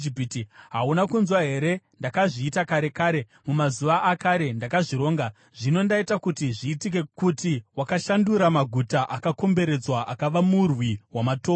“ ‘Hauna kunzwa here? Ndakazviita kare kare. Mumazuva akare ndakazvironga; zvino ndaita kuti zviitike, kuti wakashandura maguta akakomberedzwa akava murwi wamatombo.